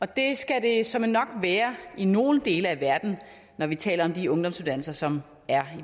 det skal det såmænd nok være i nogle dele af verden når vi taler om de ungdomsuddannelser som er